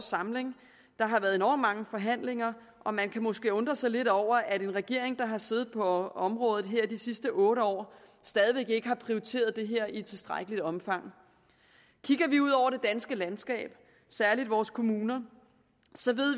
samling der har været enormt mange forhandlinger og man kan måske undre sig lidt over at en regering der har siddet på området her de sidste otte år stadig væk ikke har prioriteret det her i tilstrækkeligt omfang kigger vi ud over det danske landskab særlig vores kommuner ser